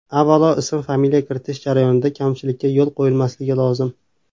Avvalo ism-familiya kiritish jarayonida kamchilikka yo‘l qo‘yilmasligi lozim.